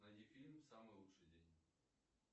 найди фильм самый лучший день